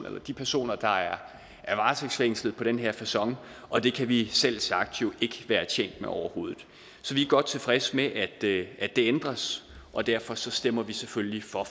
eller de personer der er varetægtsfængslet på den her facon og det kan vi selvsagt ikke være tjent med overhovedet så vi er godt tilfredse med at det ændres og derfor stemmer vi selvfølgelig for